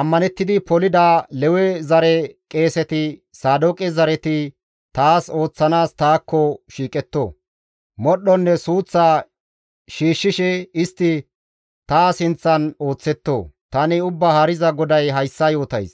ammanettidi polida, Lewe zare qeeseti Saadooqe zareti taas ooththanaas taakko shiiqetto. Modhdhonne suuththa shiishshishe, istti ta sinththan ooththetto. Tani Ubbaa Haariza GODAY hayssa yootays.